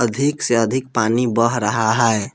अधिक से अधिक पानी बह रहा हैं।